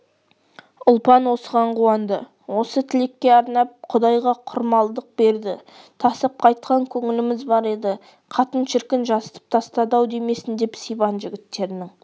ұлпан осыған қуанды осы тілекке арнап құдайға құрмалдық берді тасып қайтқан көңіліміз бар еді қатын шіркін жасытып тастады-ау демесін деп сибан жігіттерінің